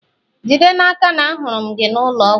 jide n'aka na ahụrụ m gị n'ụlọ ọgwụ!